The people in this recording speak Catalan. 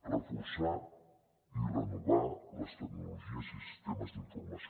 reforçar i renovar les tecnologies i sistemes d’informació